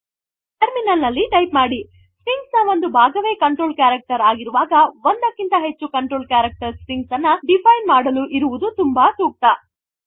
terminal ನಲ್ಲಿ type ಮಾಡಿ string ನ ಒಂದು ಭಾಗವೇ ಕಂಟ್ರೋಲ್ ಕ್ಯಾರೆಕ್ಟರ್ ಆಗಿರುವಾಗಒಂದಕ್ಕಿಂತ ಹೆಚ್ಚು ಕಂಟ್ರೋಲ್ ಕ್ಯಾರೆಕ್ಟರ್ ಸ್ಟ್ರಿಂಗ್ ಅನ್ನು ಡಿಫೈನ್ ಮಾಡಲು ಇರುವುದು ತುಂಬಾ ಸೂಕ್ತ